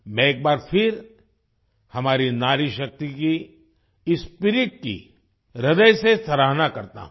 मैं एक बार फिर हमारी नारीशक्ति की इस स्पिरिट की ह्रदय से सराहना करता हूँ